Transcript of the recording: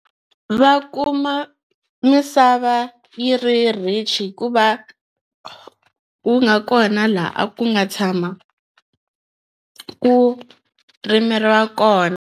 Va kuma misava yi ri rich hi ku va wu nga kona laha a ku nga tshama ku rimeriwa kona.